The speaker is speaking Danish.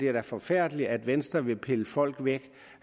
er forfærdeligt at venstre vil pille folk væk